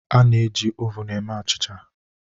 A na-eji ovun eme achịcha